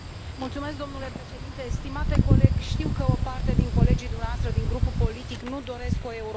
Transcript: Domnule președinte, stimate coleg, știu că o parte din colegii dumneavoastră din grupul politic nu doresc o Europă.